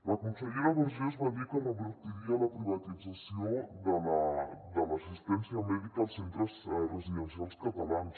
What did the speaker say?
la consellera vergés va dir que revertiria la privatització de l’assistència mèdica als centres residencials catalans